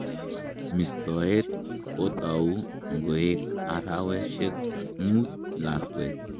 Mistoet kotau ngoek araweshek mut lakwet